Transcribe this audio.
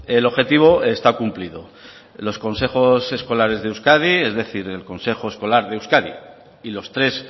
el objetivo está cumplido los consejos escolares de euskadi es decir el consejo escolar de euskadi y los tres